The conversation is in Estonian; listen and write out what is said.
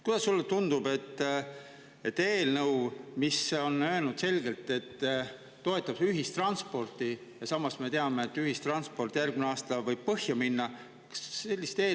Kuidas sulle tundub see eelnõu, mille puhul öeldi selgelt, et see toetab ühistransporti, kui me samas teame, et ühistransport võib järgmisel aastal põhja minna?